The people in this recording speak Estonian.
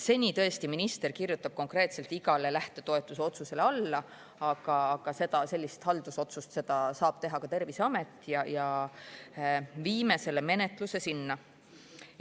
Seni on tõesti minister igale lähtetoetuse otsusele alla kirjutanud, aga sellist haldusotsust saab teha ka Terviseamet ja me viime selle menetluse sinna üle.